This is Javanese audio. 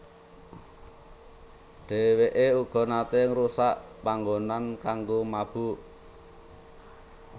Dheweke uga nate ngrusak panggonan kanggo mabok